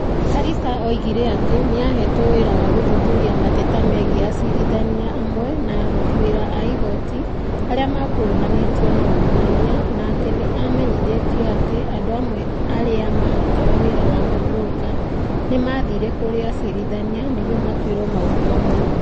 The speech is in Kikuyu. Karisa oigire atĩ nĩ aheetwo wĩra wa gũthuthuria mateta megiĩ acirithania amwe na aruti wĩra a igooti arĩa makuruhanĩtio na ungumania na atĩ nĩ amenyithĩtio atĩ andũ amwe aria marutaga wira wa ma broka nĩ maathire kũrĩ acirithania nĩguo matuĩrwo maũndũ mamwe.